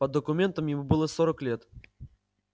по документам ему было сорок лет